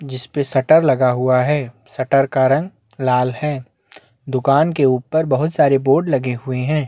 जिस पे शटर लगा हुआ है शटर का रंग लाल है दुकान के ऊपर बहुत सारे बोर्ड लगे हुए है।